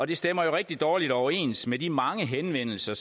det stemmer rigtig dårligt overens med de mange henvendelser